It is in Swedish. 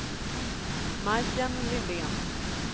Majken Lindén